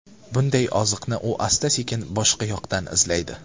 Bunday oziqni u asta-sekin boshqa yoqdan izlaydi.